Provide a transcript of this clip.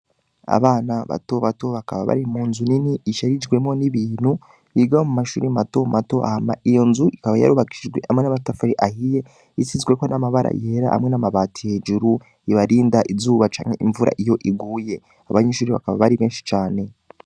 Abana bato bato bakaba bari mu nzu nini isharijwemo n'ibintu yigao mu mashuri mato mato ahma iyo nzu ikaba yarubakishijwe hamwe n'amatafari ahiye isizweko n'amabara yera hamwe n'amabati hejuru ibarinda izuba canke imvura iyo iguye abanyinshuri bakaba bari benshi cane.